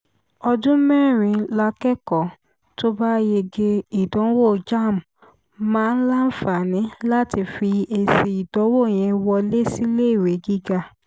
ọdún mẹ́rin lákẹ́kọ̀ọ́ tó bá yege ìdánwò jamb máa láǹfààní láti fi èsì ìdánwò yẹn wọlé síléèwé gíga